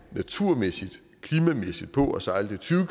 naturmæssigt klimamæssigt på at sejle dem tyve